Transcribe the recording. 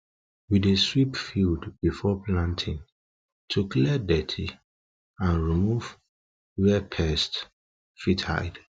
we dey sweep field before planting to clear dirt and remove where pest fit hide